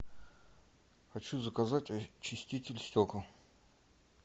хочу заказать очиститель стекол